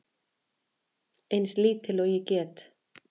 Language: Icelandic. Eins lítil og ég get.